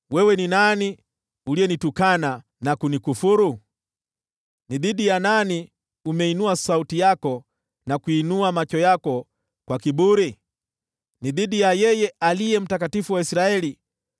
Ni nani uliyemtukana na kumkufuru? Ni nani uliyeinua sauti yako dhidi yake, na kumwinulia macho yako kwa kiburi? Ni dhidi ya yule Aliye Mtakatifu wa Israeli!